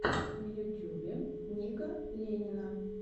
в ютюбе ника ленина